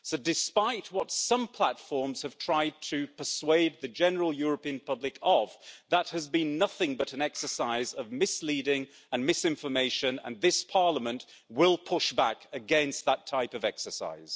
So, despite what some platforms have tried to persuade the general European public of, that has been nothing but an exercise of misleading and misinformation and this Parliament will push back against that type of exercise.